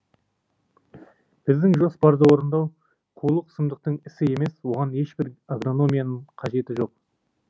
біздің жоспарды орындау қулық сұмдықтың ісі емес оған ешбір агрономияның қажеті жоқ